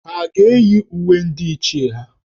Ha ga-eyi uwe ndị Ichie ha?